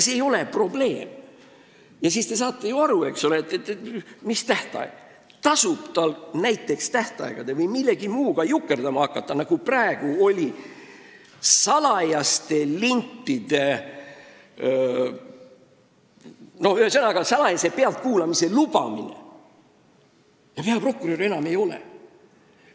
See ei ole probleem ja te saate ju aru, et tasub vaid hakata jukerdama tähtaegade või millegi muuga, nagu näiteks salajase pealtkuulamise lubamisega, ja peaprokuröri enam ametis ei ole.